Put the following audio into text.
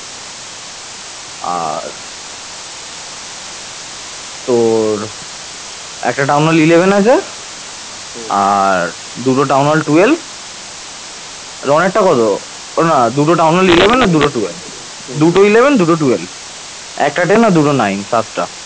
দুটো eleven দুটো twelve ভ একটা ten দুটো নয় সাতটা